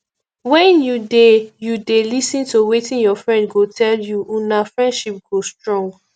wen you dey you dey lis ten to wetin your friend get to tell you una friendship go strong